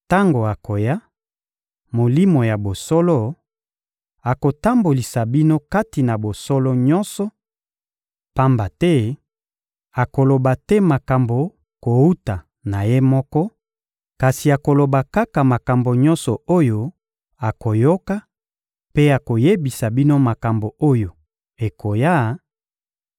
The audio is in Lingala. Tango akoya, Molimo ya bosolo, akotambolisa bino kati na bosolo nyonso; pamba te akoloba te makambo kowuta na Ye moko, kasi akoloba kaka makambo nyonso oyo akoyoka, mpe akoyebisa bino makambo oyo ekoya;